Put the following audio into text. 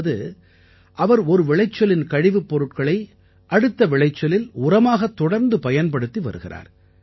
அதாவது அவர் ஒரு விளைச்சலின் கழிவுப் பொருட்களை அடுத்த விளைச்சலில் உரமாகத் தொடர்ந்து பயன்படுத்தி வருகிறார்